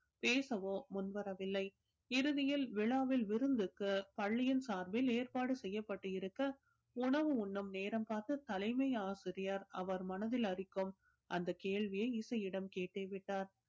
பேசவோ முன் வரவில்லை இறுதியில் விழாவில் விருந்துக்கு பள்ளியின் சார்பில் ஏற்பாடு செய்யப்பட்டு இருக்க உணவு உண்ணும் நேரம் பார்த்து தலைமை ஆசிரியர் அவர் மனதில் அரிக்கும் அந்த கேள்வியை இசையிடம் கேட்டே விட்டார்